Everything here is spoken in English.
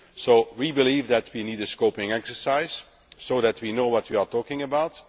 us. So we believe that we need a scoping exercise so that we know what we are talking about.